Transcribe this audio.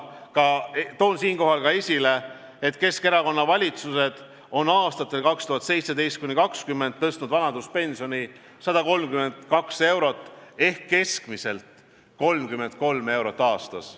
Toon siinkohal ka esile, et Keskerakonna valitsused on aastatel 2017–2020 tõstnud vanaduspensioni 132 eurot ehk keskmiselt 33 eurot aastas.